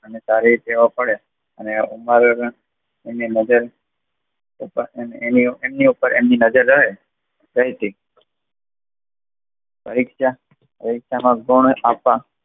ને તારી દેવા પડે અને એની વગર અમેની ઉપર નજર એમની નજર રહે ફરીથી પરીક્ષાના પણ આપવામાં